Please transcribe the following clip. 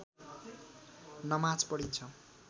नमाज पढिन्छ